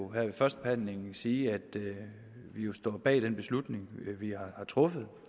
ved førstebehandlingen vil sige at vi jo står bag den beslutning vi har truffet